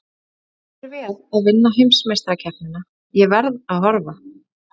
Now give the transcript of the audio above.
Gangi þér vel að vinna heimsmeistarakeppnina, ég verð að horfa.